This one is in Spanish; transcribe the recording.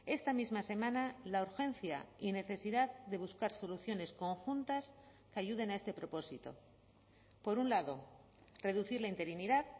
esta misma semana la urgencia y necesidad de buscar soluciones conjuntas que ayuden a este propósito por un lado reducir la interinidad